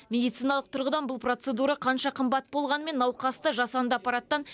медициналық тұрғыдан бұл процедура қанша қымбат болғанымен науқасты жасанды аппараттан